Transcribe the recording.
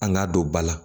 An k'a don ba la